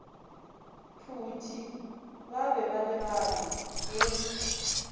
phuti ba be balebane le